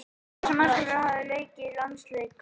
Hvorugur þessara markvarða hafa leikið landsleik.